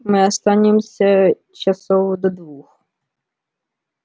мы останемся часов до двух